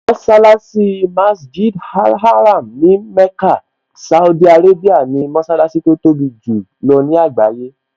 Mọṣálásí Masjid al-Haram ní Mecca, Saudi Arabia ni mọṣálásí tó tóbi jù lọ ní àgbáyé